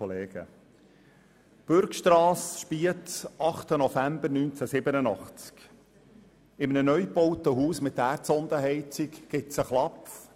In einem neu gebauten Haus mit Erdsondenheizung gibt es einen Knall;